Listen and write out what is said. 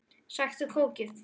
Sæktu kókið.